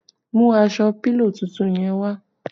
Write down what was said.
Mú aṣọ pílò tuntun yẹn wá!